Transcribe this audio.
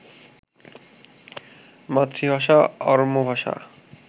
মাতৃভাষা অরমো ভাষা